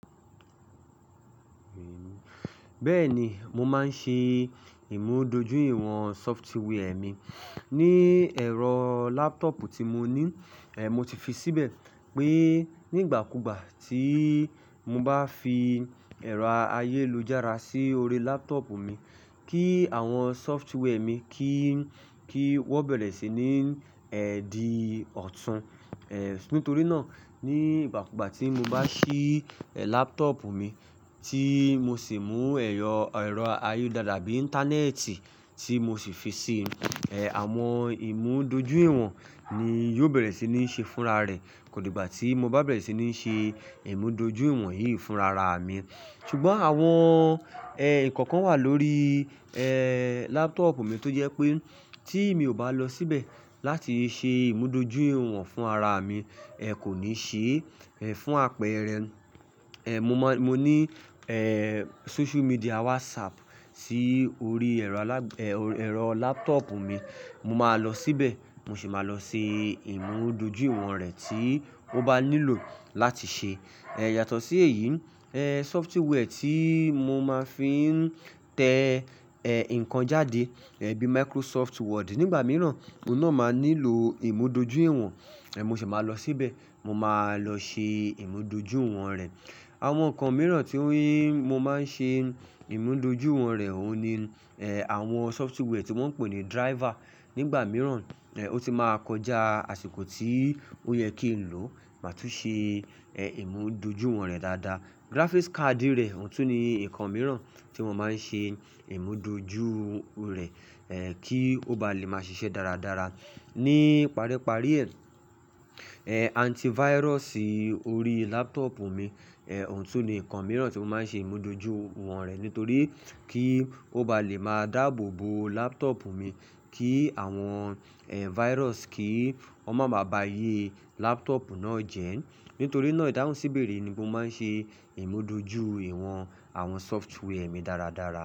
Bẹ́ẹ̀ni, mo máa ń ṣe ìmúdójúìwọ̀n software mi ní ẹ̀rọ laptop tí mo ní. Mo ti fi síbẹ̀ pé nígbàkúùgbà tí mo bá fi ẹ̀rọ ayélujára sí orí laptop mi kí àwọn software mi kí wọ́n bẹ̀rẹ̀ sí ní di ọ̀tún. Nítorí náà, nígbàkúùgbà tí mo bá ṣí laptop mi tí mo sì mú ẹ̀rọ ayọ̀ dáadáa bí i Íńtánẹ́ẹ̀tì tí mo sì fi ṣe àwọn ìmúdójúìwọ̀n ni yóò bẹ̀rẹ̀ sí ní ṣe fúnra rẹ̀. Kò ní ìgbà tí mo bá bẹ̀rẹ̀ sí ní ṣe ìmúdójúìwọ̀n yìí fúnra ra mi. Ṣùgbọ́n àwọn ǹkan kan wà lórí laptop mi tó jẹ́ pé tí mi ò bá lọ síbẹ̀ láti ṣe ìmúdójúìwọ̀n fúnra mi, kò ní ṣe fún apẹ̀rẹ̀. Mo ní social media WhatsApp sí orí ẹ̀rọ laptop mi. Mo máa lọ síbẹ̀, mo sì máa lọ ṣe ìmúdójúìwọ̀n rẹ̀ tí ó bá nílò láti ṣe. Yàtọ̀ sí èyí, software tí mo máa fi ń tẹ ǹkan jáde bíi Microsoft Word nígbà mìíràn, òun náà máa nílò ìmúdójúìwọ̀n, mo sì máa lọ síbẹ̀, mo máa lọ ṣe ìmúdójúìwọ̀n rẹ̀. Àwọn ǹkan mìíràn tí mo máa ń ṣe ìmúdójúìwọ̀n rẹ̀ òun ni àwọn software tí wọ́n ń pè ní driver. Nígbà mìíràn, ó ti máa kọjá àsìkò tí ó yẹ kí n lò máa tún ṣe ìmúdójúìwọ̀n rẹ̀ dáadáa. Graphics card rẹ̀ òun tún ní ǹkan mìíràn tí mo máa ń ṣe ìmúdójú rẹ̀ kí ó ba lè máa ṣiṣẹ́ dáradára. Ni párí párí rẹ̀, antivirus orí laptop mi òun tún ní ǹkan mìíràn tí mo máa ń ṣe ìmúdójúìwọ̀n rẹ̀. Nítorí kí ó ba lè máa dáàbò bo laptop mi kí àwọn virus kì í máa ba aye laptop náà jẹ́. Nítorí náà, ìdáhùn síbẹ̀rẹ̀ ni mo máa ń ṣe ìmúdójúìwọ̀n àwọn software mi dáradára.